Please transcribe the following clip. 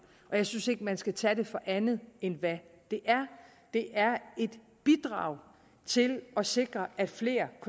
og jeg synes ikke man skal tage det for andet end hvad det er det er et bidrag til at sikre at flere